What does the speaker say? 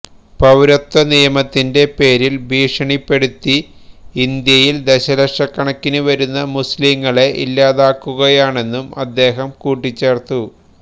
പൌരത്വ നിയമത്തിന്റെ പേരില് ഭീഷണിപ്പെടുത്തി ഇന്ത്യയില് ദശലക്ഷക്കണക്കിന് വരുന്ന മുസ്ലീങ്ങളെ ഇല്ലാതാക്കുകയാണെന്നും അദ്ദേഹം കൂട്ടിച്ചേര്ത്തു